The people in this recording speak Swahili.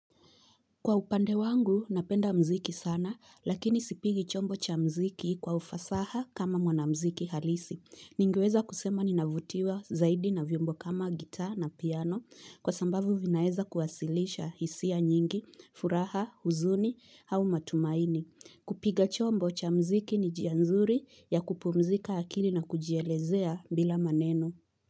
Kwa upande wangu, napenda mziki sana, lakini sipigi chombo cha mziki kwa ufasaha kama mwanamziki halisi. Ningeweza kusema ninavutiwa zaidi na vyombo kama gitaa na piano, kwa sambavu vinaeza kuwasilisha hisia nyingi, furaha, huzuni, hau matumaini. Kupiga chombo cha mziki ni njia nzuri ya kupumzika akili na kujielezea bila maneno.